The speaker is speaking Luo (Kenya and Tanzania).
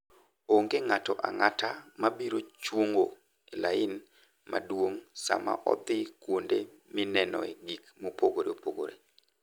Onge ng'ato ang'ata ma biro chungo e lain maduong' sama odhi kuonde minenoe gik mopogore opogore.